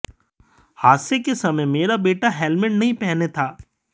हादसे के समय मेरा बेटा हेलमेट नहीं पहने था